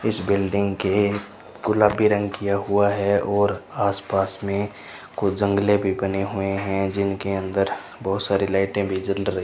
इस बिल्डिंग के गुलाबी रंग किया हुआ है और आस पास में कुछ जंगले भी बने हुए हैं जिनके अंदर बहोत सारी लाइटे भी जल र --